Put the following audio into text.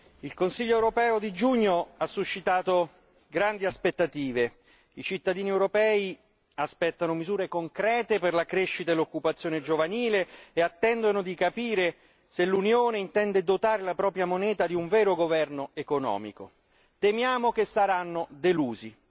Signor Presidente, onorevoli colleghi, il Consiglio europeo di giugno ha suscitato grandi aspettative i cittadini europei aspettano misure concrete per la crescita e l'occupazione giovanile e attendono di capire se l'Unione intende dotare la propria moneta di un vero governo economico. Temiamo che saranno delusi!